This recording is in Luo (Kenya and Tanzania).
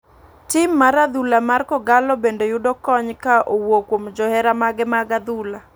Tim mar adhula mar kogallo bende yudo kony ka owuok kuom johera mage mar adhula.